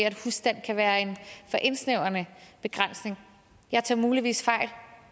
at kan være en for indsnævrende begrænsning jeg tager muligvis fejl